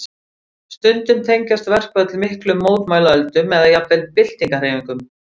Stundum tengjast verkföll miklum mótmælaöldum eða jafnvel byltingarhreyfingum.